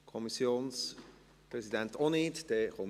Der Kommissionspräsident wünscht das Wort auch nicht.